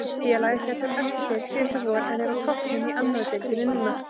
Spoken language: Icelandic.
Félagið féll úr efstu deild síðasta vor en er á toppnum í annari deildinni núna.